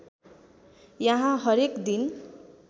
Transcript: यहाँ हरेक दिन